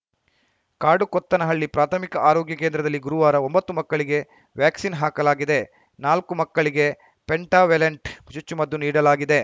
ಕಾಡುಕೊತ್ತನಹಳ್ಳಿ ಪ್ರಾಥಮಿಕ ಆರೋಗ್ಯ ಕೇಂದ್ರದಲ್ಲಿ ಗುರುವಾರ ಒಂಬತ್ತು ಮಕ್ಕಳಿಗೆ ವ್ಯಾಕ್ಸಿನ್‌ ಹಾಕಲಾಗಿದೆ ನಾಲ್ಕು ಮಕ್ಕಳಿಗೆ ಪೆಂಟಾವೇಲೆಂಟ್‌ ಚುಚ್ಚುಮದ್ದು ನೀಡಲಾಗಿದೆ